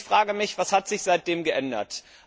Ich frage mich Was hat sich seitdem geändert?